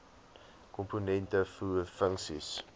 komponente voer funksies